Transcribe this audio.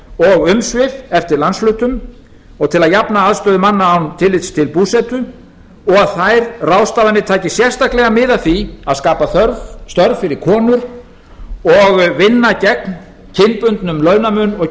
og umsvif eftir landshlutum og til að jafna aðstöðu manna án tillits til búsetu og þær ráðstafanir taki sérstaklega mið af því að skapa störf fyrir konur og vinna gegn kynbundnum launamun